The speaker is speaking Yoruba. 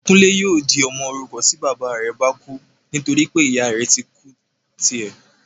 Kúnlé yóò di ọmọ òrukàn tí bàbá rẹ bá kú nítorí pé ìyá rẹ ti kú tí ẹ́